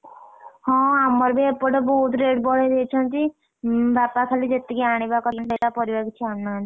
ହଁ ଆମର ବି ଏପଟେ ବହୁତ rate ବଢେଇଦେଇଛନ୍ତି, ଉଁ ବାପା ଖାଲି ଯେତିକି ଆଣିବା ପରିବା କିଛି ଆଣୁ ନାହାଁନ୍ତି।